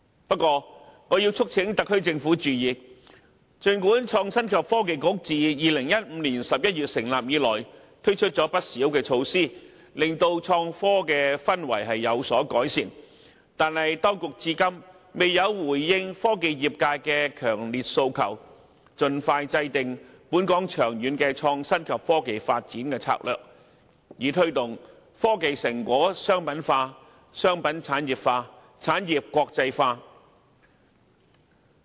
不過，我促請特區政府注意，儘管創新及科技局自2015年11月成立以來推出不少措施，使創科氛圍有所改善，但當局至今仍未回應科技業界的強烈訴求，就是盡快制訂本港長遠創新及科技發展策略，以推動科研成果商品化、商品產業化及產業國際化。